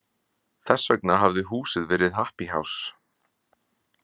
Þess vegna hafi húsið verið happy house.